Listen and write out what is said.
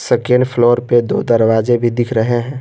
Second floor पे दो दरवाजे भी दिख रहे हैं।